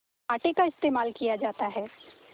आटे का इस्तेमाल किया जाता है